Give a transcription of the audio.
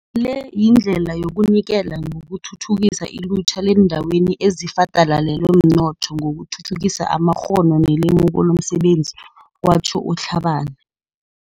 Le yindlela yokunike la yokuthuthukisa ilutjha leendaweni ezifadalalelwe mnotho ngokuthuthukisa amakghono nelemuko lomsebenzi, kwatjho u-Tlhabane.